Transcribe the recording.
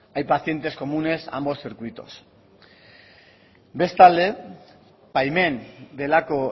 hay pacientes comunes a ambos circuitos bestalde baimen delako